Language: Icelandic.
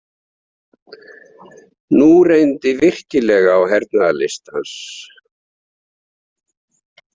Nú reyndi virkilega á hernaðarlist hans.